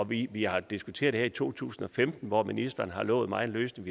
vi vi har diskuteret det her i to tusind og femten hvor ministeren har lovet mig en løsning